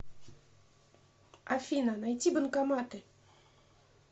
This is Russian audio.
афина найти банкоматы